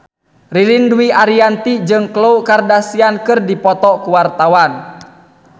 Ririn Dwi Ariyanti jeung Khloe Kardashian keur dipoto ku wartawan